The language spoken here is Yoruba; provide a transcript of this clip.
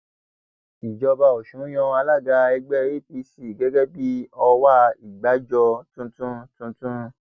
ìjọba ọsùn yan alága ẹgbẹ apc gẹgẹ bíi ọwá ìgbàjọ tuntun tuntun